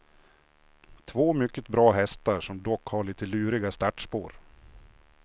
Två mycket bra hästar som dock har lite luriga startspår.